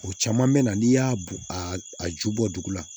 O caman mɛna n'i y'a bɔn a a ju bɔ dugu la